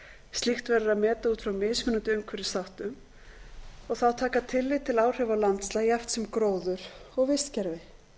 slíkt verður að meta út frá mismunandi umhverfisþáttum og þá taka tillit til áhrifa á landslag jafnt sem gróður og vistkerfi